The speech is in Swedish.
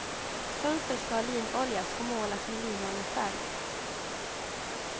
Fönster ska linoljas och målas med linoljefärg.